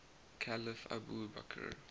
caliph abu bakr